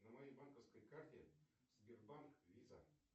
на моей банковской карте сбербанк виза